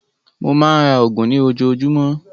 Mó máa ń ra oògùn ní ojoojúmọ́.